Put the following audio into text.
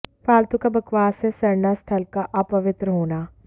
फालतू का बकवास है सरना स्थल का अपवित्र होना